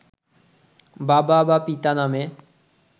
বাবা বা পিতা নামে